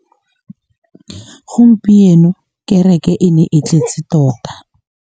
Gompieno kêrêkê e ne e tletse tota.